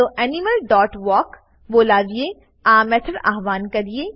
ચાલો animal dot walk બોલાવીને આ મેથડ આવ્હાન કરીએ